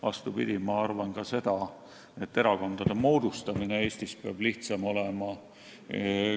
Vastupidi, ma arvan ka seda, et erakondade moodustamine Eestis peaks olema lihtsam.